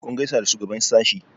kun gaisa da shugaban sashe?